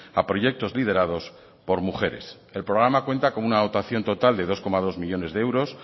a proyectos liderados por mujeres el programa cuenta con una dotación total de dos coma dos millónes de euros